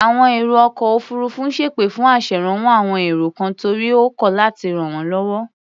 Àwọn èrò ọkọ̀ òfuurufú ń ṣẹ́pè fún aṣèrànwọ́ àwon èrò kan torí ó kọ̀ láti ràn wọ́n lọ́wọ́.